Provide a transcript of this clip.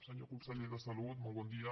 senyor conseller de salut molt bon dia